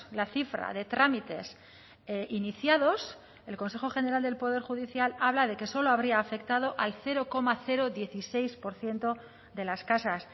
la cifra de trámites iniciados el consejo general del poder judicial habla de que solo habría afectado al cero coma dieciséis por ciento de las casas